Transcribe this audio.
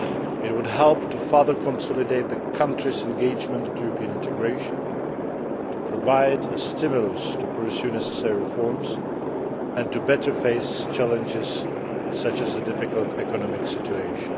It would help to further consolidate the country's engagement on European integration and to provide a stimulus to pursue necessary reforms and to better face challenges such as the difficult economic situation.